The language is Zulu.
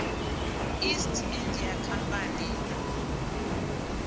east india company